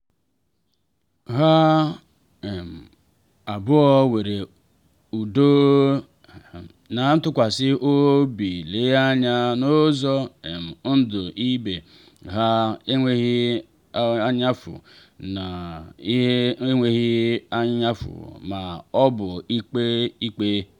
ha um abụọ were udo na ntụkwasị obi le anya n’ụzọ um ndụ ibe ha n’enweghị anyaụfụ ha n’enweghị anyaụfụ ma ọ bụ ikpe ikpe.